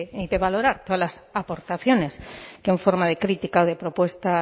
y de valorar todas las aportaciones que en forma de crítica o de propuesta